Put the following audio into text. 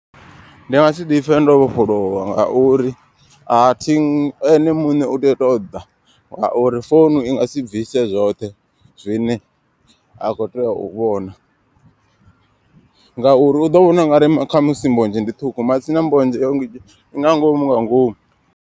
Ndi nga si ḓipfhe ndo vhofholowa ngauri athi ene muṋe u tea u ṱoḓa. Ngauri founu i nga si bvise zwoṱhe zwine a kho tea u vhona. Ngauri u ḓo vhona ungari khamusi mbodzhe ndi ṱhukhu matsina mbodzhe i nga ngomu nga ngomu.